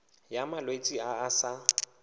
ya malwetse a a sa